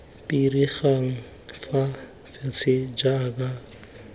pirigana fa fatshe jaaka kgetse